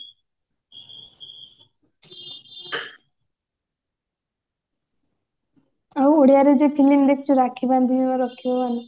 ଆଉ ଓଡିଆରେ ଯୋଉ film ଦେଖିଛୁ ରାକ୍ଷୀ ବାନ୍ଧିଲି ମୁଁ ରଖିବ ମାନ